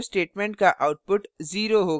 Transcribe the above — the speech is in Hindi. इस printf statement का output 0 होगा